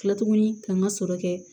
Kila tuguni k'an ka sɔrɔ kɛ